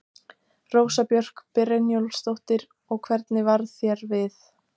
Rósa Björk Brynjólfsdóttir: Og hvernig varð þér við?